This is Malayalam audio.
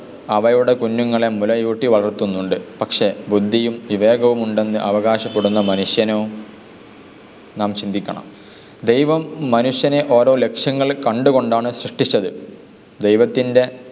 അവയുടെ കുഞ്ഞുങ്ങളെ മുലയൂട്ടി വളർത്തുന്നുണ്ട്. പക്ഷെ ബുദ്ധിയും വിവേകവും ഉണ്ടെന്ന് അവകാശപ്പെടുന്ന മനുഷ്യനോ, നാം ചിന്തിക്കണം. ദൈവം മനുഷ്യനെ ഓരോ ലക്ഷ്യങ്ങൾ കണ്ടു കൊണ്ടാണ് സൃഷ്ടിച്ചത്. ദൈവത്തിൻ്റെ